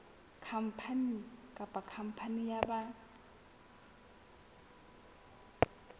khampani kapa khampani ya ba